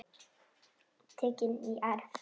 Tekin í arf.